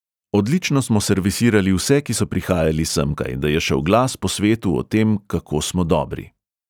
Odlično smo servisirali vse, ki so prihajali semkaj, da je šel glas po svetu o tem, kako smo dobri.